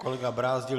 Kolega Brázdil.